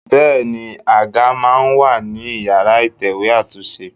Bẹẹni, àga máa ń wà ní ìyára ìtẹ̀wẹ́ àtúnṣe.